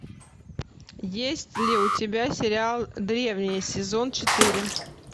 есть ли у тебя сериал древние сезон четыре